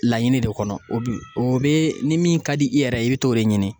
Laɲini de kɔnɔ o bi o bɛ ni min ka di i yɛrɛ ye i bɛ t'o de ɲini